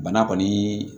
Bana kɔni